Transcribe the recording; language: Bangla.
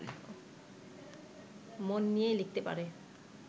মন নিয়ে লিখতে পারে